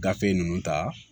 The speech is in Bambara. Gafe ninnu ta